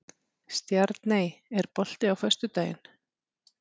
Stjarney, er bolti á föstudaginn?